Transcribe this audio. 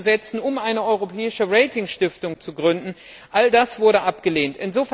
einzusetzen, um eine europäische Ratingstiftung zu gründen All das wurde abgelehnt.